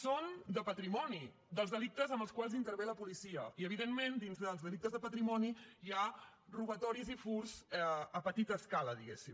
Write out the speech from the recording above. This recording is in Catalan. són de patrimoni dels delictes en els quals intervé la policia i evidentment dins dels delictes de patrimoni hi ha robatoris i furts a petita escala diguem ne